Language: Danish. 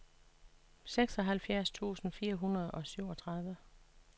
seksoghalvfjerds tusind fire hundrede og syvogtredive